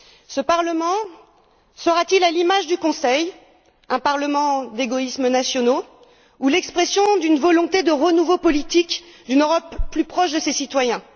Ce Parlement sera t il, à l'image du Conseil, un Parlement d'égoïsmes nationaux, ou l'expression d'une volonté de renouveau politique, d'une Europe plus proche de ses citoyens?